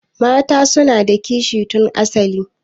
Mata suna da kishi tun asali.